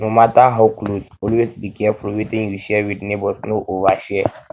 no matter how close always be careful wetin you share with neighbors no overshare